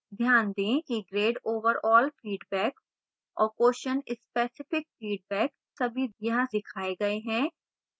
ध्यान दें कि grade overall feedback और question specific feedback सभी यहां दिखाए गए हैं